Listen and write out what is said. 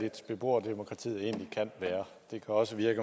beboerne også i